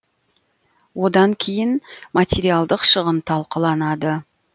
одан кейін материалдық шығын талқыланады